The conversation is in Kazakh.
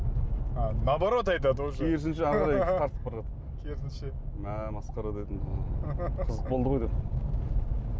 а наоборот айтады уже керісінше әрі қарай тартып барады керісінше мә масқара дедім қызық болды ғой деп